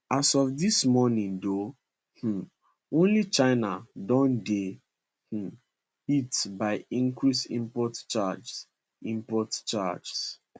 as of dis morning though um only china don dey um hit by increased import charges import charges